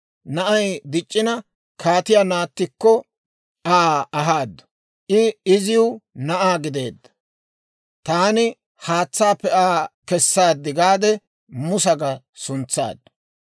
Na'ay dic'c'ina, kaatiyaa naattikko Aa ahaadu; I iziw na'aa gideedda; «Taani haatsaappe Aa kessaad» gaade, Musa ga suntsaaddu.